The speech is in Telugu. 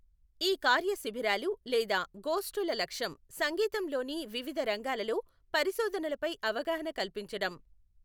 ఈ కార్యశిబిరాలు లేదా గోష్ఠుల లక్ష్యం సంగీతంలోని వివిధ రంగాలలో పరిశోధనలపై అవగాహన కల్పించడం.